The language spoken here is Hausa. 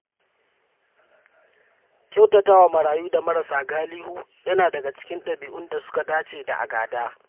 Kyautata wa marayu da marasa galihu yana daga cikin ɗabi’un da suka dace da a gada.